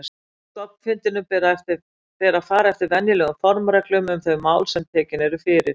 Á stofnfundinum ber að fara eftir venjulegum formreglum um þau mál sem tekin eru fyrir.